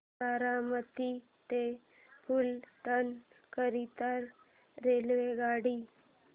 बारामती ते फलटण करीता रेल्वेगाडी